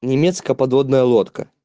немецкая подводная лодка